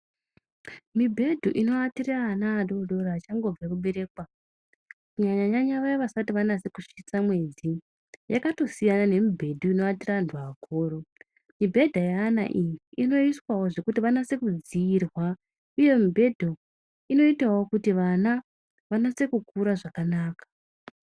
Mibhedhu inoatire ana adoodori achangobve kuberekwa, kunyanyanyanya vaya vasati vanase kusvitsa mwedzi, yakatosiyana nemibhedhu inoatira antu akuru. Mibhedha yeana iyi inoiswawo zvekuti vanonasa kudziirwa, uye mubhedhu inoitawo kuti vana vanase kukura zvakanaka.